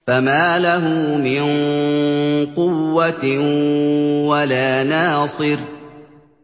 فَمَا لَهُ مِن قُوَّةٍ وَلَا نَاصِرٍ